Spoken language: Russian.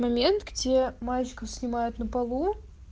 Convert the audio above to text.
момент где мальчиков снимает на полу